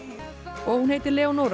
og hún heitir